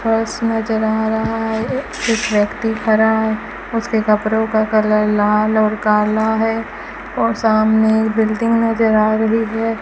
बस नजर आ रहा है ए एक व्यक्ति खड़ा उसके कपड़ों का कलर लाल और काला है और सामने बिल्डिंग नजर आ रही है।